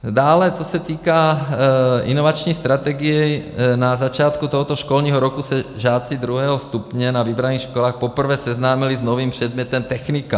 Dále co se týká inovační strategie, na začátku tohoto školního roku se žáci druhého stupně na vybraných školách poprvé seznámili s novým předmětem technika.